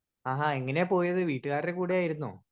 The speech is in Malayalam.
സ്പീക്കർ 1 ആഹാ എങ്ങനെയാ പോയത് വീട്ടുകാര്ടെ കൂടായിരുന്നോ?